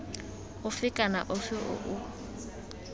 ofe kana ofe o o